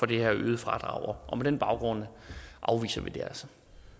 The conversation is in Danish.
det her øgede fradrag på den baggrund afviser vi det altså